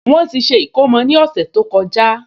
Wọ́n ti ṣe ìkómọ ní ọ̀sẹ̀ tó kọjá